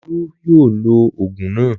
Olú yóò lo òògùn náà.